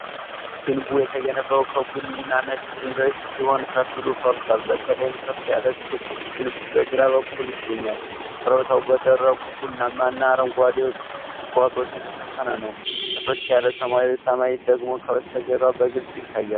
ግንቡ የተገነባው ከቡኒና ነጭ ድንጋዮች ሲሆን፣ ከፊሉ ፈርሷል፤ በተለይም ከፍ ያለ ክብ ግንብ በግራ በኩል ይገኛል። ኮረብታው በደረቁ ቡናማ እና አረንጓዴ ቁጥቋጦዎች የተሸፈነ ነው፤ ጥርት ያለ ሰማያዊ ሰማይ ደግሞ ከበስተጀርባ በግልጽ ይታያል።